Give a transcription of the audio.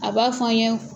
A b'a fɔ an ɲe